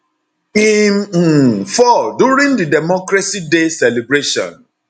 im um fall during di democracy day celebration